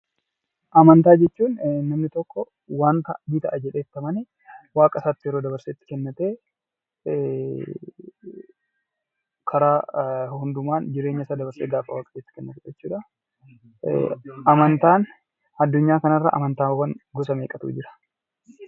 Amantaa jechuun waan namni tokko ni ta'aa jedhee itti amanee waaqa isaatti yeroo itti dabarsee kennatee karaa isaa hundumaan jireenya isaa Waaqayyootti dabarsee kennate jechuu dha. Addunyaa kana irraa amantaa gosa meeqatu jira?